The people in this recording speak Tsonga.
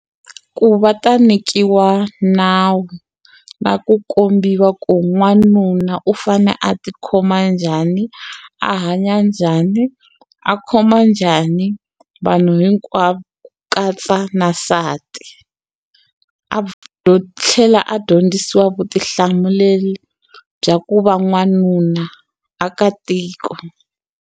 Ku va ta nyikiwa nawu na ku kombiwa ku n'wanuna u fane a ti khoma njhani a hanya njhani a khoma njhani vanhu hinkwavo ku katsa na nsati tlhela a dyondzisiwa vutihlamuleli bya ku va n'wanuna a ka tiko.